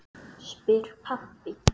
spyr pabbi.